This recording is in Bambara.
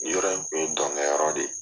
Yɔrɔ in kun ye dɔnkɛ yɔrɔ de ye.